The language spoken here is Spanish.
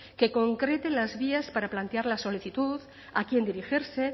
que concrete las vías para plantear la solicitud a quién dirigirse